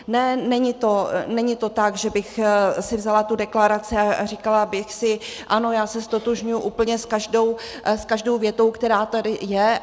Ne, není to tak, že bych si vzala tu deklaraci a říkala bych si ano, já se ztotožňuji s úplně každou větou, která tady je.